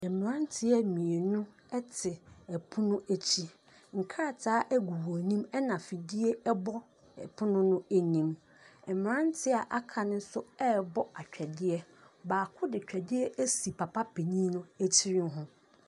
Mmranreɛ mmienu te pono akyi, nkrataa gu wɔn anim na fidie bɔ ɔpono no anim. Mmranteɛ a aka nso rebɔ twɛdeɛ. Baako de twɛdeɛ asi papa panin tiri ho.